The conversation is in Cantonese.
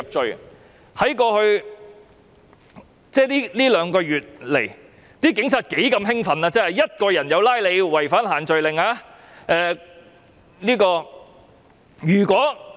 在過去兩個多月，警察是多麼的興奮，因為單獨一個人也會因違反限聚令而被捕。